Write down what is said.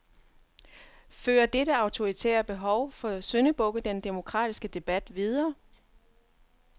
Fører dette autoritære behov for syndebukke den demokratiske debat videre?